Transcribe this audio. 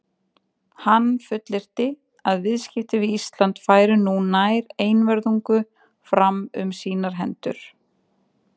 Hann fullyrti, að viðskipti við Ísland færu nú nær einvörðungu fram um sínar hendur.